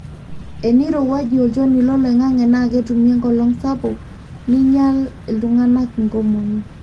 enirowuaju olchoni loloingange naa ketumi enkolong sapuk nainyal iltunganak inkomomi